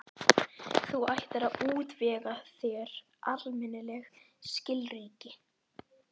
Þú ættir að útvega þér almennileg skilríki.